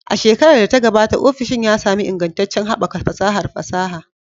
A shekarar da ta gabata, ofishin ya sami ingantaccen haɓaka fasahar fasaha.